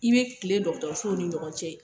I be kilen sow ni ɲɔgɔn cɛ.